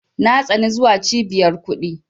Na tsani zuwa Cibiyar kuɗi.